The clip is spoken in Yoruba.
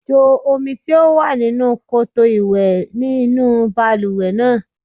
Jo omi tí ó wà nínú koto-ìwẹ́ inú balùwẹ̀ náà.